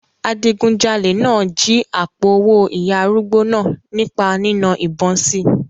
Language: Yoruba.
Adigunjalè náà jí àpò-owó ìyá arúgbó náà nípa nína ìbọn si.